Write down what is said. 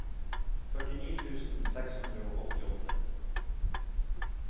førtini tusen seks hundre og åttiåtte